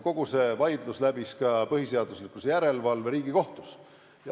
Kogu see vaidlus läbis ka põhiseaduslikkuse järelevalve Riigikohtus.